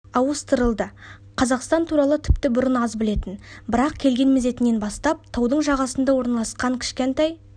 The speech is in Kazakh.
ауыстырылды қазақстан туралы тіпті бұрын аз білетін бірақ келген мезетінен бастап таудың жағасында орналасқан кішкентай